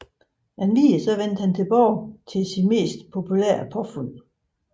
Endvidere vendte han tilbage til sit mest populære påfund